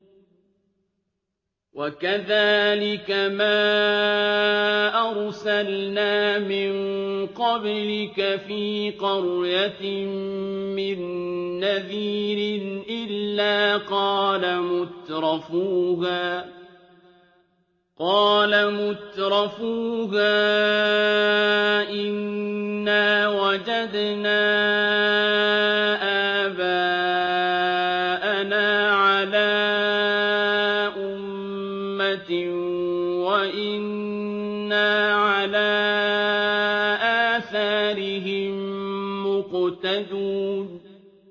وَكَذَٰلِكَ مَا أَرْسَلْنَا مِن قَبْلِكَ فِي قَرْيَةٍ مِّن نَّذِيرٍ إِلَّا قَالَ مُتْرَفُوهَا إِنَّا وَجَدْنَا آبَاءَنَا عَلَىٰ أُمَّةٍ وَإِنَّا عَلَىٰ آثَارِهِم مُّقْتَدُونَ